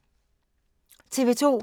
TV 2